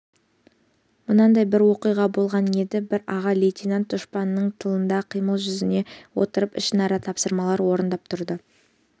мынандай бір оқиға болған еді бір аға лейтенант дұшпанның тылында қимыл жүргізе отырып ішінара тапсырмалар орындап тұрды